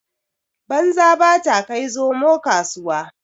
Banza ba ta kai zomo kasuwa.